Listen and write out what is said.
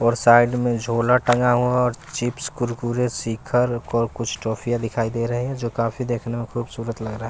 और साइड में झोला टंगा हुआ है और चिप्स कुरकुरे शिखर और कुछ ट्रॉफियां दिखाई दे रही हैं जो काफी देखने में खूबसूरत लग रहा है।